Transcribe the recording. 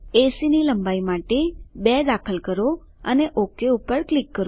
એસી ની લંબાઈ માટે 2 દાખલ કરો અને ઓક ક્લિક કરો